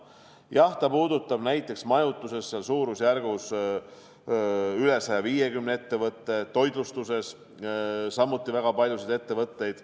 Jah, ta puudutab näiteks majutuses suurusjärgus üle 150 ettevõtte, toitlustuses samuti väga paljusid ettevõtteid.